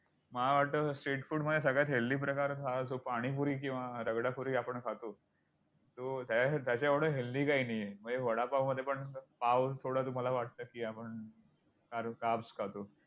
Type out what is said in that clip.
मला वाटतं street food मध्ये सगळ्यात healthy प्रकार हा जो पाणीपुरी किंवा रगडापुरी आपण खातो. जो त्याच्या~ त्याच्याएवढं healthy काही नाही आहे म्हणजे वडापावमध्ये पण पावच तुम्हाला वाटतं की आपण कारण carbs खातो.